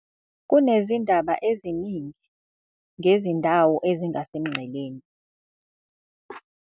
kunezindaba eziningi ngezindawo ezingasemngceleni